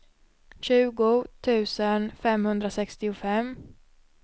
tjugo tusen femhundrasextiofem